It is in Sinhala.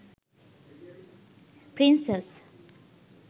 princess